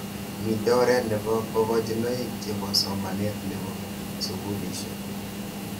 Mitei oret nebo kakochinoik chebo somanet nebo sukulishek.